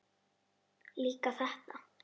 Líka þetta.